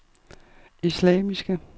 islamiske